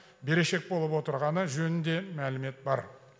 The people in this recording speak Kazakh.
берешек болып отырғаны жөнінде мәлімет бар